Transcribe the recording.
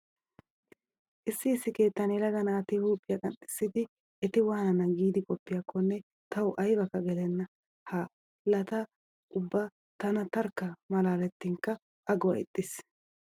Issi issi keettan yelaga naati huuphiya qanxxissiiddi eti waanana giidi qoppiyakkonne tawu aybakka gelenna. Haaha laa ubba tana tarkka malaalettinkka aguwa ixxiis.